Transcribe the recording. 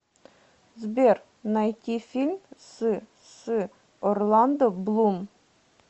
сбер найти фильм с с орландо блум